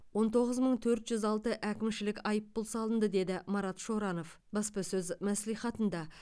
он тоғыз мың төрт жүз алты әкімшілік айыппұл салынды деді марат шоранов баспасөз мәслихатында